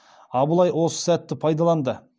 абылай осы сәтті пайдаланды